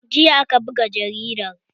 Jiya aka buga jaridar